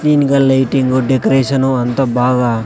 clean గా lighting decoration అంత బాగా--